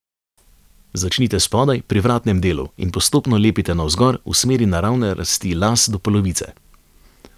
Začnite spodaj, pri vratnem delu, in postopno lepite navzgor, v smeri naravne rasti las do polovice.